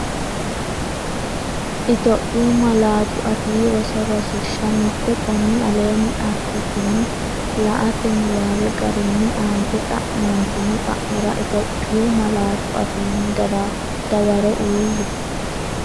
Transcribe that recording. Itophiyu Malaatu Afii Roso Rosiishsha Mite Konni aleenni assitini la”ate niwaawe garinni aante xa’mantino xa’mora Itiyophiyu malaatu afiinni dawaro uuyye.